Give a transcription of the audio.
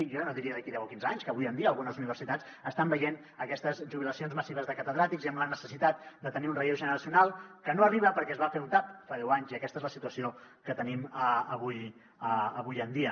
jo ja no diria d’aquí deu o quinze anys que avui en dia algunes universitats estan veient aquestes jubilacions massives de catedràtics i amb la necessitat de tenir un relleu generacional que no arriba perquè es va fer un tap fa deu anys i aquesta és la situació que tenim avui en dia